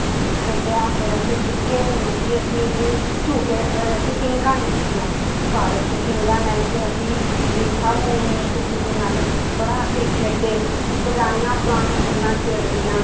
ਖੇਡਿਆ ਫਿਰ ਅਸੀਂ ਜਿੱਥੇ ਮਰਜ਼ੀ ਅਸੀਂ ਵੀ ਝੂਟੇ ਫਿਰ ਅਸੀਂ ਪੀਘਾਂ ਲਿੱਤੀਆਂ ਪਾਰਕ 'ਚ ਪੀਂਘਾਂ ਲੈ ਕੇ ਅਸੀਂ ਵੀ ਸਭ ਨੇ ਇੱਕ ਦੂਜੇ ਨਾਲ ਬੜਾ ਅਸੀਂ ਖੇਡੇ, ਪੁਰਾਣੀਆਂ ਪੁਰਾਣੀਆਂ ਗੱਲਾਂ ਛੇੜਨੀਆਂ